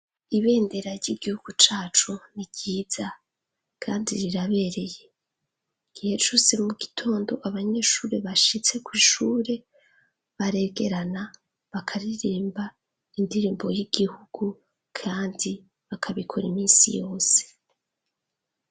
Ibendera ry'igihugu cacu ni ryiza kandi rirabereye. Igihe cose mu gitondo abanyeshure bashitse kw' ishure baregerana bakaririmba indirimbo y'igihugu, kandi bakabikora iminsi yose.